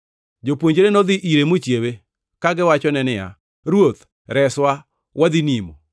Jopuonjre nodhi ire mochiewe, kagiwachone niya, “Ruoth, reswa! Wadhi nimo!”